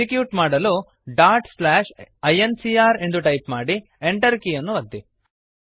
execute ಮಾಡಲು dot slash I N C R ಎಂದು type ಮಾಡಿ Enter ಕೀಯನ್ನು ಒತ್ತಿ